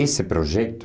Esse projeto.